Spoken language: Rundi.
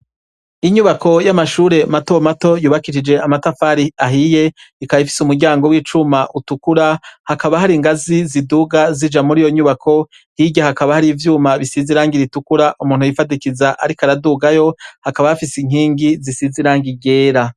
Inyubako y'amashure mato mato, yubakishije amatafari ahiye, ikaba ifise umuryango w'icuma utukura, hakaba hari inganzi ziduga zija muriyo nyubako, hirya hakaba hari ivyuma bisize irangi ritukura umuntu yifadikiza ariko aradugayo, hakaba hafise inkingi zisize irangi ryera.